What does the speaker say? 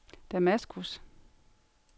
Damaskus